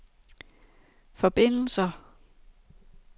forbindelser